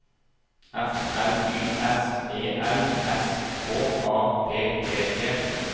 F L Y S E L S K A P E T